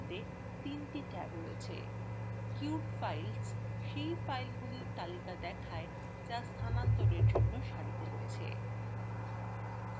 এতে ৩ the tab রয়েছে: queued filesসেই ফাইলগুলির তালিকা দেখায় যা স্থানান্তরের জন্য সারিতে রয়েছে